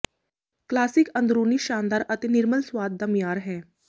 classic ਅੰਦਰੂਨੀ ਸ਼ਾਨਦਾਰ ਅਤੇ ਨਿਰਮਲ ਸੁਆਦ ਦਾ ਮਿਆਰ ਹੈ